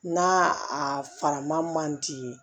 N'a a faraman man di